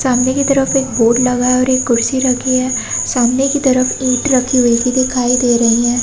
सामने की तरफ एक बोर्ड लगा है और एक कुर्सी रखी है सामने की तरफ ईंट रखी हुई दिखाई दे रही हैं |